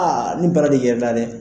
Aa ni bara de yɛrɛ na dɛɛ.